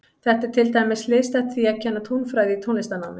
Þetta er til dæmis hliðstætt því að kenna tónfræði í tónlistarnámi.